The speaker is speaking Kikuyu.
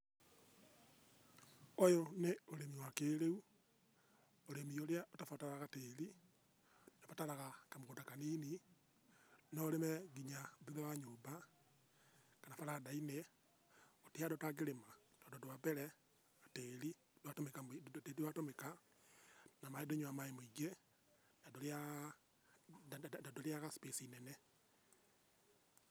Ũyũ nĩ ũrĩmi wa kĩrĩu, ũrĩmi rĩa ũtabataraga tĩri, ũbataraga kamũgũnda kanini, no ũrĩme nginya thutha wa nyũmba, kana baranda-inĩ, gũtirĩ handũ ũtangĩrĩma, tondũ wa mbere, tĩri tũratũmĩka, na maĩ ndũnyuaga maĩ maingĩ, na ndũrĩaga space nene.